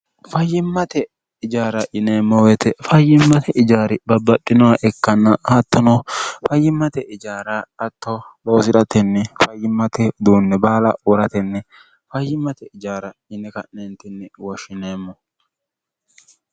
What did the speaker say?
fayyimmate ijaara yineemmo woyite fayyimmate ijaari babbadhinoha ekkanna hattono fayyimmate ijaara atto loozi'ratenni fayyimmate uduunni baala uuratenni fayyimmate ijaara yini ka'neentinni woshshineemmo